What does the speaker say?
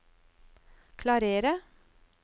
klarere